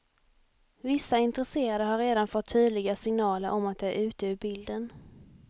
Vissa intresserade har redan fått tydliga signaler om att de är ute ur bilden.